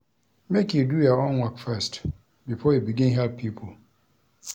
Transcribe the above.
Make you do your own work first before you begin help pipo.